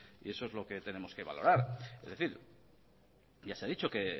y eso es lo que tenemos que valorar es decir ya se ha dicho que